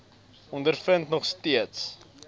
ondervind nog steeds